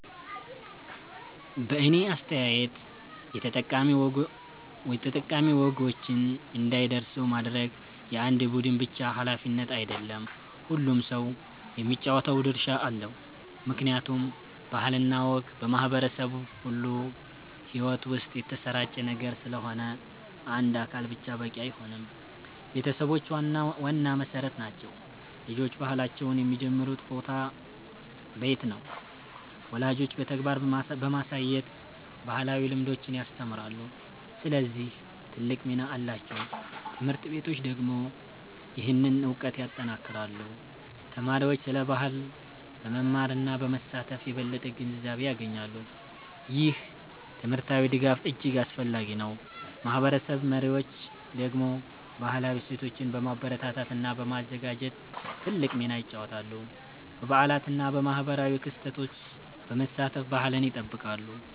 በእኔ አስተያየት የጠቃሚ ወጎችን እንዳይረሱ ማድረግ የአንድ ቡድን ብቻ ሃላፊነት አይደለም፤ ሁሉም ሰው የሚጫወተው ድርሻ አለው። ምክንያቱም ባህል እና ወግ በማህበረሰብ ሁሉ ሕይወት ውስጥ የተሰራጨ ነገር ስለሆነ አንድ አካል ብቻ በቂ አይሆንም። ቤተሰቦች ዋና መሠረት ናቸው። ልጆች ባህላቸውን የሚጀምሩበት ቦታ ቤት ነው። ወላጆች በተግባር በማሳየት ባህላዊ ልምዶችን ያስተምራሉ፣ ስለዚህ ትልቅ ሚና አላቸው። ት/ቤቶች ደግሞ ይህንን እውቀት ያጠናክራሉ። ተማሪዎች ስለ ባህል በመማር እና በመሳተፍ የበለጠ ግንዛቤ ያገኛሉ። ይህ ትምህርታዊ ድጋፍ እጅግ አስፈላጊ ነው። ማህበረሰብ መሪዎች ደግሞ ባህላዊ እሴቶችን በማበረታታት እና በማዘጋጀት ትልቅ ሚና ይጫወታሉ። በበዓላት እና በማህበራዊ ክስተቶች በመሳተፍ ባህልን ይጠብቃሉ።